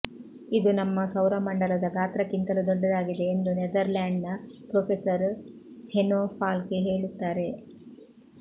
ಇದು ನಮ್ಮ ಸೌರಮಂಡಲದ ಗಾತ್ರಕ್ಕಿಂತಲೂ ದೊಡ್ಡದಾಗಿದೆ ಎಂದು ನೆದರ್ಲ್ಯಾಂಡ್ನ ಪ್ರೊಫೆಸರ್ ಹೆನೊ ಫಾಲ್ಕೆ ಹೇಳುತ್ತಾರೆ